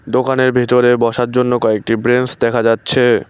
দোকানের ভেতরে বসার জন্য কয়েকটি ব্রেঞ্চ দেখা যাচ্ছে।